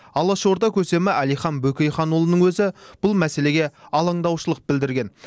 алашорда көсемі әлихан бөкейханұлының өзі бұл мәселеге алаңдаушылық білдірген